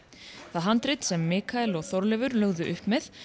það handrit sem Mikael og Þorleifur lögðu upp með